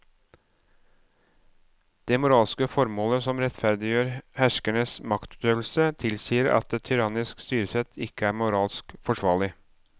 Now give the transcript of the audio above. Det moralske formålet som rettferdiggjør herskerens maktutøvelse tilsier at et tyrannisk styresett ikke er moralsk forsvarlig.